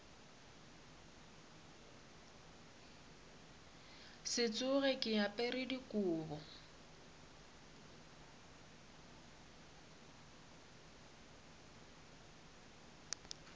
se tsoge ke apere dikobo